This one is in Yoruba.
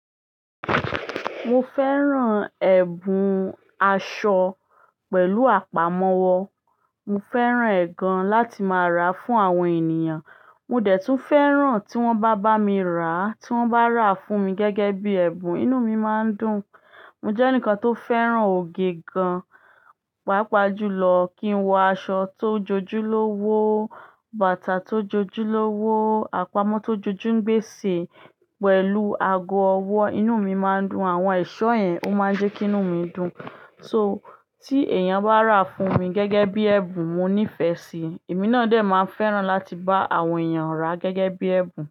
Mo fẹ́ràn ẹ̀bùn aṣọ pẹ̀lú àpamọ́wọ́. Mo fẹ́ràn ẹ̀ gan láti má ra fún àwọn ènìyàn. Mo dè tún fẹ́ràn tí wọ́n bá bá mi ra, tí wọ́n bá ra fún mi gẹ́gẹ́ bí ẹ̀bùn, inú mi máa ń dùn. Mo jẹ́ ẹnìkan tó fẹ́ràn ògè gan, pàápàá jùlọ kí n wọ aṣọ tó jojúlówó, bàtà tó jojúlówó, àpamọ́ tó jojúngbésè pẹ̀lú ago ọwọ́, inú mi máa ń dùn. Àwọn ẹ̀ṣọ́ yẹn ó máa ń jẹ́ kí inú mi dùn. So tí èèyàn bá ra fún mi gẹ́gẹ́ bí ẹ̀bùn, mo nífẹ̀ẹ́ síi. Èmi náà dè máa ń fẹ́ràn láti bá àwọn èeyàn rà gẹ́gẹ́ bí ẹ̀bùn.